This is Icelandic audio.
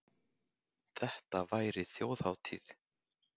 Þetta væri þjóðhátíð.